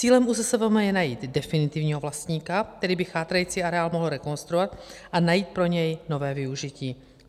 Cílem ÚZSVM je najít definitivního vlastníka, který by chátrající areál mohl rekonstruovat a najít pro něj nové využití.